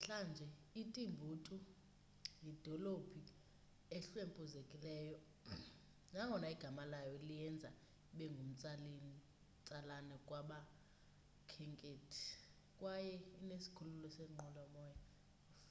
namhlanje itimbuktu yidolophu ehlwempuzekileyo nangona igama layo liyenza ibe ngumtsalane kubakhenkethi kwaye inesikhululo seenqwelomoya